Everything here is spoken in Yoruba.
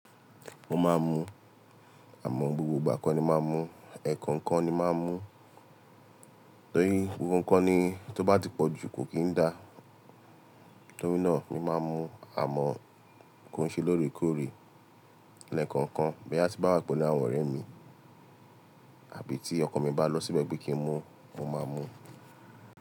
Mo máa ń mu àmọ́ gbogbo ìgbà kọ́ ni máa ń mu, ẹ̀ẹ̀kan kan ni máa ń mu torí gbogbo nǹkan tí ó bá ti pọ̀ ju kò kì n dá. Torí náà mi máa ń mu àmọ́ kó ṣe lóòrèkóòrè ẹ́ẹ̀kan kan, bóyá ti bá wà pelu àwọn ọ̀rẹ́ mi àbí tí ọkan mi bá lọ síbẹ̀ pé kí n mu, mo máa mu.